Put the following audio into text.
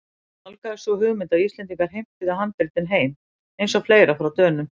Þá nálgaðist sú hugmynd að Íslendingar heimtuðu handritin heim- eins og fleira frá Dönum.